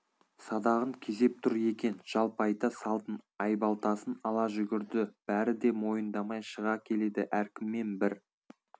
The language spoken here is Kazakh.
садағын кезеп тұр екен жалпайта салдым айбалтасын ала жүгірді бәрі де мойындамай шыға келеді әркіммен бір